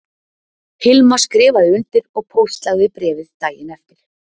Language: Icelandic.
Hilma skrifaði undir og póstlagði bréfið daginn eftir